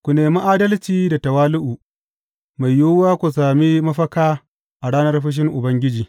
Ku nemi adalci da tawali’u; mai yiwuwa ku sami mafaka a ranar fushin Ubangiji.